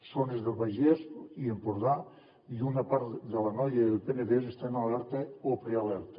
zones del vallès i empordà i una part de l’anoia i del penedès estan en alerta o prealerta